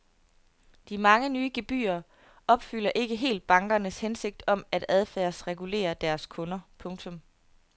De mange nye gebyrer opfylder ikke helt bankernes hensigt om at adfærdsregulere deres kunder. punktum